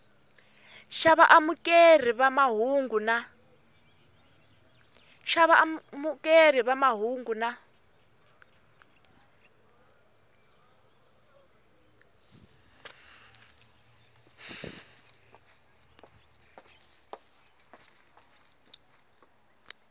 xa vaamukeri va mahungu na